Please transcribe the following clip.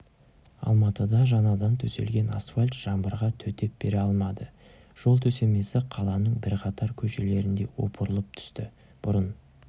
алматыда жаңадан төселген асфальт жаңбырға төтеп бере алмады жол төсемесі қаланың бірқатар көшелерінде опырылып түсті бұрын